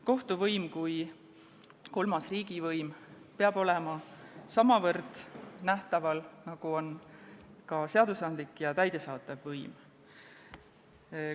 Kohtuvõim kui kolmas riigivõim peab olema samavõrd nähtaval, nagu ka seadusandlik ja täidesaatev võim.